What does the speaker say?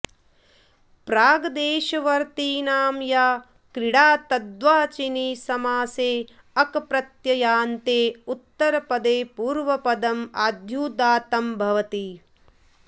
प्राग्देशवर्तिनां या क्रीडा तद्वाचिनि समासे अकप्रत्ययान्ते उत्तरपदे पूर्वपदम् आद्युदात्तं भवति